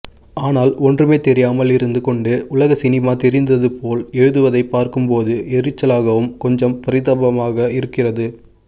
ஆனால் ஒன்றுமே தெரியாமல் இருந்துகொண்டு உலகசினிமா தெரிந்ததுபோல் எழுதுவதைப்பார்க்கும்போது எரிச்சலாகவும் கொஞ்சம் பரிதாபமாக இருக்கிறது